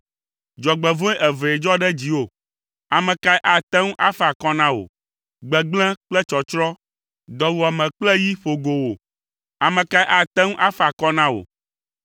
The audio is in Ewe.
Dzɔgbevɔ̃e evee dzɔ ɖe dziwò, ame kae ate ŋu afa akɔ na wò? Gbegblẽ kple tsɔtsrɔ̃, dɔwuame kple yi ƒo go wò, ame ka ate ŋu afa akɔ na wò.